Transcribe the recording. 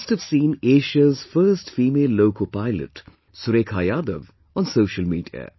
You must have seen Asia's first female loco pilot Surekha Yadav on social media